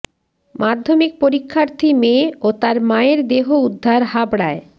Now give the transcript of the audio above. মাধ্যমিক পরীক্ষার্থী মেয়ে ও তার মায়ের দেহ উদ্ধার হাবড়ায়